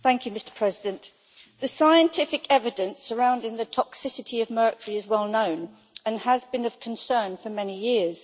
Mr President, the scientific evidence surrounding the toxicity of mercury is well known and has been of concern for many years.